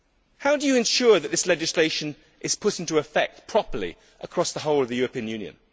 How do you ensure that this legislation will be put into effect properly across the whole of the European Union?